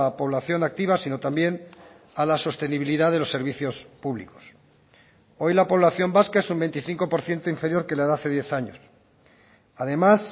población activa sino también a la sostenibilidad de los servicios públicos hoy la población vasca es un veinticinco por ciento inferior que la de hace diez años además